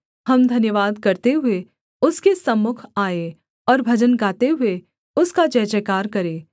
हम धन्यवाद करते हुए उसके सम्मुख आएँ और भजन गाते हुए उसका जयजयकार करें